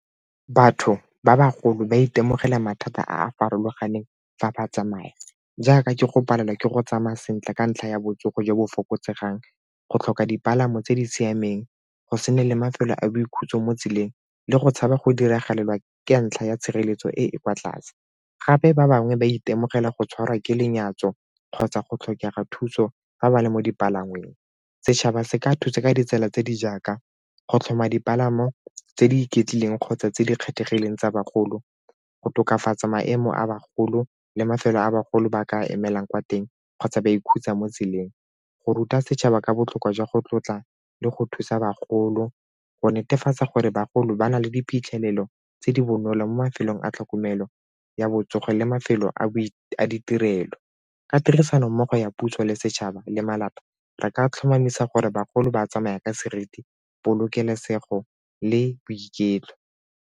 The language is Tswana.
Batho ba bagolo ba itemogela mathata a a farologaneng fa ba tsamaya jaaka ke go palelwa ke go tsamaya sentle ka ntlha ya botsogo jo bo fokotsegang, go tlhoka dipalamo tse di siameng go se na le mafelo a boikhutso mo tseleng le go tshaba go diragalela ka ntlha ya tshireletso e e kwa tlase. Gape ba bangwe ba itemogela go tshwarwa ke lenyatso kgotsa go tlhokega thuso fa ba le mo dipalangweng. Setšhaba se ka thusa ka ditsela tse di jaaka go tlhoma dipalamo tse di iketlile eng kgotsa tse di kgethegileng tsa bagolo, go tokafatsa maemo a bagolo le mafelo a bagolo ba ka emelang kwa teng kgotsa ba ikhutsa mo tseleng, go ruta setšhaba ka botlhokwa jwa go tlotla le go thusa bagolo, go netefatsa gore bagolo ba na le diphitlhelelo tse di bonolo mo mafelong a tlhokomelo ya botsogo le mafelo a ditirelo. Ka tirisano mmogo ya puso le setšhaba le malapa, re ka tlhomamisa gore bagolo ba tsamaya ka seriti, polokesego le boiketlo.